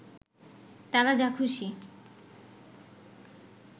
তারা যা খুশি